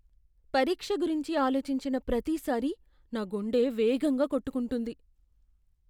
పరీక్ష గురించి ఆలోచించిన ప్రతిసారీ నా గుండె వేగంగా కొట్టుకుంటుంది.